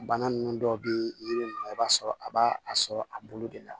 Bana nunnu dɔw be yiri ninnu i b'a sɔrɔ a b'a sɔrɔ a bolo de la